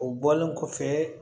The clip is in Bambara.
O bɔlen kɔfɛ